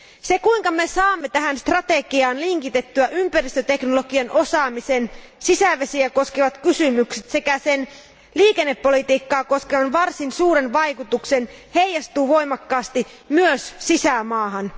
Se, kuinka saamme tähän strategiaan linkitettyä ympäristöteknologian osaamisen, sisävesiä koskevat kysymykset sekä sen liikennepolitiikkaa koskevan varsin suuren vaikutuksen, heijastuu voimakkaasti myös sisämaahan.